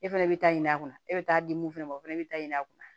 E fɛnɛ bɛ taa ɲini a kunna e bɛ taa di mun fana ma o fana bɛ ta ɲini a kunna